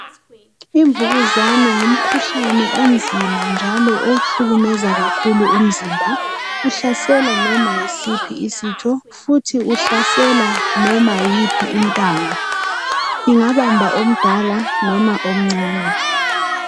Imvukuzana ngumkhuhlane onzima njalo ohlukumeza kakhulu umzimba. Uhlasela noma yisiphi isitho futhi uhlasela noma yiphi intanga, ingabamba omdala loba omcane.